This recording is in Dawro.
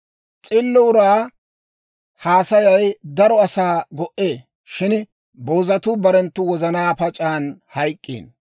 S'illo uraa haasayay daro asaa go"ee; shin boozatuu barenttu wozanaa pac'an hayk'k'iino.